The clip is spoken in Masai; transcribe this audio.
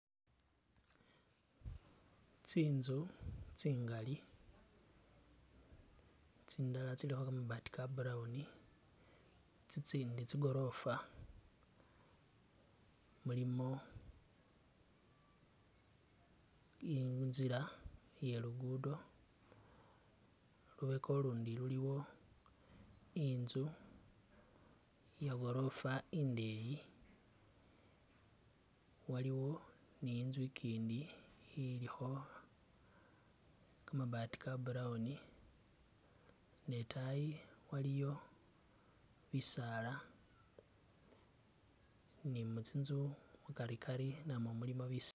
Tsinzu tsingali tsindala tsilikho kamabaati ka'brown, tsiitsindi tsigorofa mulimo inzila iye luguddo, lubeka lulundi luliwo inzu iye'gorofa indeyi waliwo inzu ikindi ilikho kamabaati ka'brown ne taayi waliyo bisaala ni munzu mukarikari namwo mulimo bisaala.